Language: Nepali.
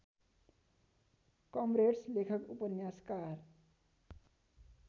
कमरेड्स लेखक उपन्यासकार